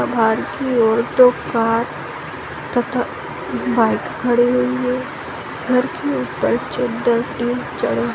बाहर की ओर दो कार तथा बाइक खड़ी हुई है घर की ऊपर चद्दर टिन चढ़े --